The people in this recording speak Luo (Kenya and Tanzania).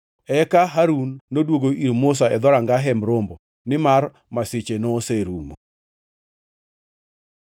Eka Harun noduogo ir Musa e dhoranga Hemb Romo, nimar masiche noserumo.